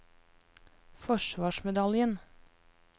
forsvarsmedaljen